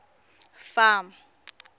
farm